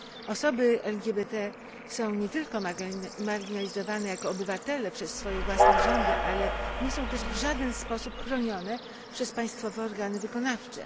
Osoby LGBT są nie tylko marginalizowane jako obywatele przez swoje własne rządy, ale nie są też w żaden sposób chronione przez państwowe organy wykonawcze.